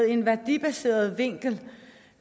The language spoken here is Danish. en værdibaseret vinkel